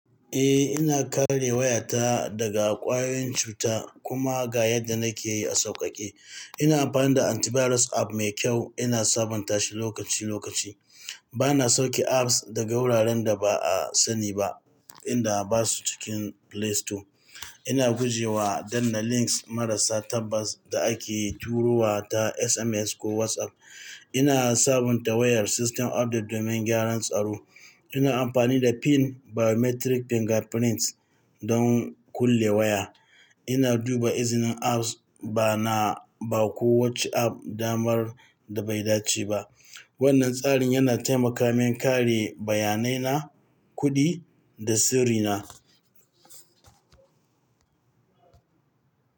Eh, ina kare wayata daga kwayoyin cuta kuma ga yadda nakeyi a sauƙaƙe. Ina amfani da antivirus app mai kyau, ina sabontashi lokaci-lokaci. Bana sauke apps daga wuraren da ba'a saniba, inda basu cikin Play Store. Ina gujewa danna links marasa tabbas da ake turowa ta SMS ko WhatsApp. Ina sabunta wayar, system update domin gyaran tsaro. Ina amfani da PIN, biometric fingerprint don kulle waya. Ina duba izinin apps, bana ba kowace app damar da bai dace ba. Wannan tsarin yana taimaka min kare bayanaina, kuɗi, da sirri na.